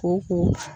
Ko ko